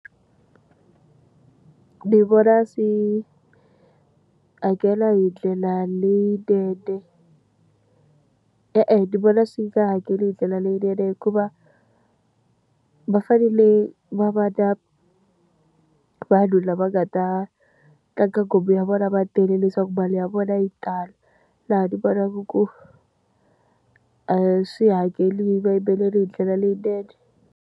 Ndzi vona swi hakela hi ndlela leyinene. E-e ndzi vona swi nga hakeli hi ndlela leyinene hikuva, va fanele va va na vanhu lava nga ta tlanga nghoma ya vona va tele leswaku mali ya vona yi tala. Laha ndzi vonaka ku a swi hakeli vayimbeleri hi ndlela leyinene.